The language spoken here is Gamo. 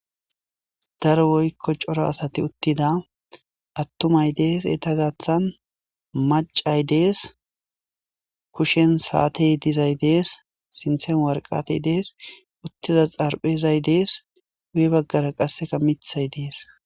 daro woykko coro asati uttida attumay dees eta gaththan macay dees kushen saatey dizay dees sinthen warqatey dees uttiza xarphezay dees uye baggara qasseka mithay dees